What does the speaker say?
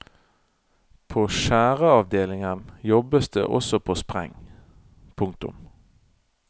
På skjæreavdelingen jobbes det også på spreng. punktum